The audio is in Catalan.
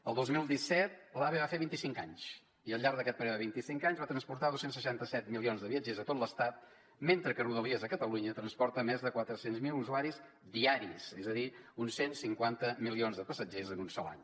el dos mil disset l’ave va fer vint i cinc anys i al llarg d’aquest període de vint i cinc anys va transportar dos cents i seixanta set milions de viatgers a tot l’estat mentre que rodalies a catalunya transporta més de quatre cents miler usuaris diaris és a dir uns cent i cinquanta milions de passatgers en un sol any